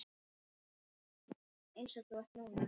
Eins og þú ert núna.